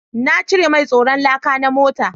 Na cire mai tsaron laka na mota